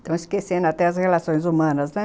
Estão esquecendo até as relações humanas, né?